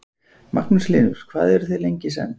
Magnús Hlynur: Hvað eru þau lengi í senn?